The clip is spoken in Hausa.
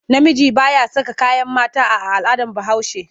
Namiji ba ya saka kayan mata a al'adar Bahaushe.